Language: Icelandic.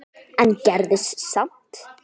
en gerðist samt.